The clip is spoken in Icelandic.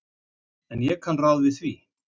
En ég kann ráð við því.